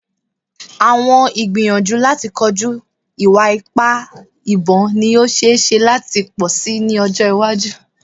Awọn igbiyanju lati koju iwa-ipa ibon ni o ṣee ṣe lati pọ si ni ọjọ iwaju